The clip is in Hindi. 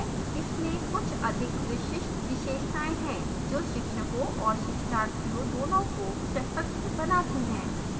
इसमें कुछ अधिक विशिष्ट विशेषताएं हैं जो शिक्षकों और शिक्षार्थियों दोनों को सशक्त बनाती हैं